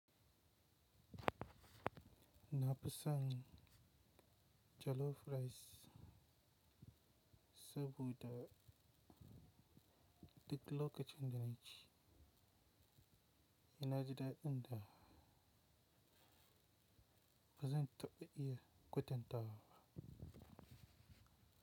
Na fi son jollof rice saboda duk lokacin da na ci, na ji daɗin ta bazan taɓa iya kwatanta.